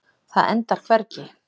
Það endar hvergi.